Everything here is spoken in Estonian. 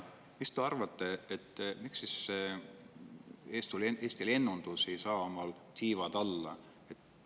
Mis te arvate, miks siis Eesti lennundus ei saa?